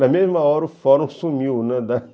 Na mesma hora o fórum sumiu, né, da